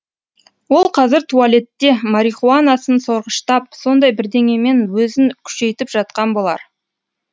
ол қазір туалетте марихуанасын сорғыштап сондай бірдеңемен өзін күшейтіп жатқан болар